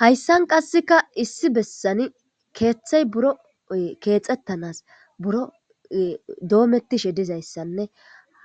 Hayssan qasseka issi bessani keeththay buro keexettanas buro doomettishe dizayssanne